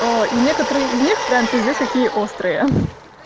оо и некоторые из них прям пиздец какие острые